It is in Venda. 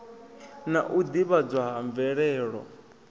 na u ḓivhadzwa ha mvelelo